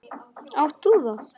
Átt þú það?